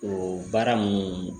O baara minnu